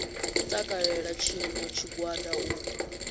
u takalela tshiṋwe tshigwada u